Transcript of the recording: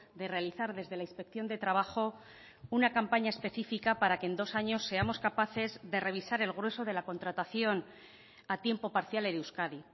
de realizar desde la inspección de trabajo una campaña específica para que en dos años seamos capaces de revisar el grueso de la contratación a tiempo parcial en euskadi